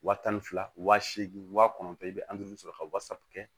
Wa tan fila wa seegin wa kɔnɔntɔn i bɛ sɔrɔ ka wasa kɛ